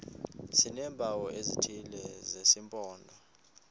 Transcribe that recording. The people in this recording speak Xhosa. sineempawu ezithile zesimpondo